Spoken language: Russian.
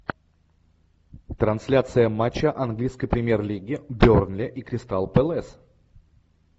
трансляция матча английской премьер лиги бернли и кристал пэлас